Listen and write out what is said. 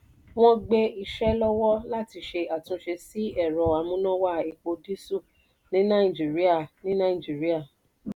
wọ́n gbé iṣẹ́ lọ́wọ́ láti ṣe àtúnṣe sí ẹ̀rọ amúnáwá epo dísẹ́lì ní nàìjíríà. ní nàìjíríà.